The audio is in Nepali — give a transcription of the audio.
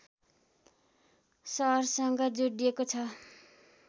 सहरसँग जोडिएको छ